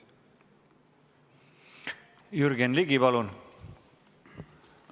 Jürgen Ligi, palun!